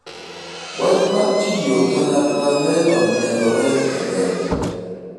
wach mar tiyo kanyakla ne onyiedhore e lela